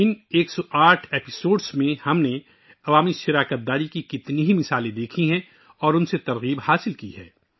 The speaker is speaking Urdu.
ان 108 قسطوں میں ہم نے عوامی شراکت داری کی اتنی ہی مثالیں دیکھی ہیں، ان سے تحریک بھی حاصل کی ہے